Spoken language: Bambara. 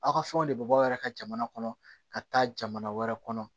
Aw ka fɛnw de bɛ bɔ aw yɛrɛ ka jamana kɔnɔ ka taa jamana wɛrɛ kɔnɔ